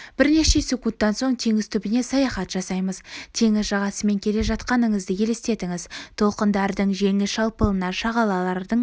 бірнеше секундтан соң теңіз түбіне саяхат жасаймыз теңіз жағасымен келе жатқаныңызды елестетіңіз толқындардың жеңіл шалпылына шағалалардың